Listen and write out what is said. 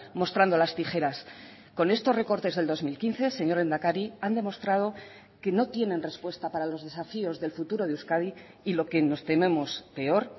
mostrando las tijeras con estos recortes del dos mil quince señor lehendakari han demostrado que no tienen respuesta para los desafíos del futuro de euskadi y lo que nos tememos peor